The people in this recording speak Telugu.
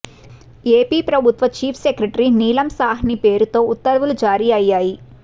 ఏపీ ప్రభుత్వ చీఫ్ సెక్రటరీ నీలం సాహ్ని పేరుతో ఉత్తర్వులు జారీ అయ్యాయి